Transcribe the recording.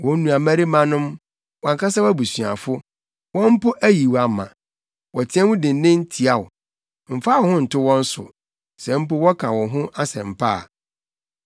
Wo nuabarimanom, wʼankasa abusuafo, wɔn mpo ayi wo ama; wɔteɛ mu dennen tia wo. Mfa wo ho nto wɔn so, sɛ mpo wɔka wo ho asɛm pa a.